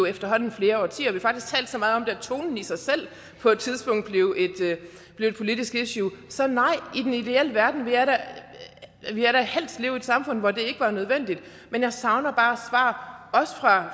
efterhånden flere årtier vi har faktisk talt så meget om det at tonen i sig selv på et tidspunkt blev et politisk issue så nej i den ideelle verden vil jeg da helst leve i et samfund hvor det ikke var nødvendigt men jeg savner bare svar også fra